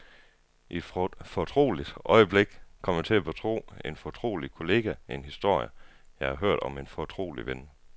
I et fortroligt øjeblik kom jeg til at betro en fortrolig kollega en historie, jeg havde hørt om en fortrolig ven.